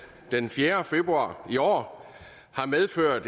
den fjerde februar i år har medført